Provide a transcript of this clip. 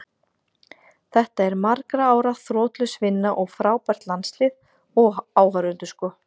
Þetta er margra ára þrotlaus vinna og frábært landslið, og áhorfendur sko.